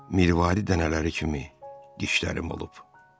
Mirvari dənələri kimi dişlərim olub.